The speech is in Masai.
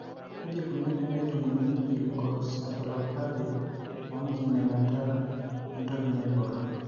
Kaji eikoni tenejung'uni eleukoencephalopathy oenkiminata entoki naibor?